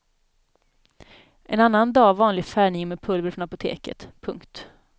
En annan dag vanlig färgning med pulver från apoteket. punkt